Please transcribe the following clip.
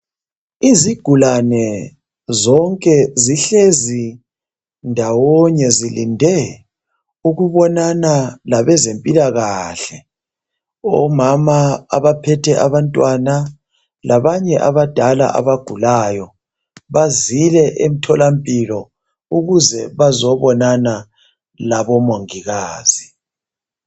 Izigulane zonke zihlezi ndawonye zilinde ukubonana labezempilakahle. Omama abaphethe abantwana labanye abadala abagulayo, bazile emthola mpilo ukuze bazobonana labo mongikazi.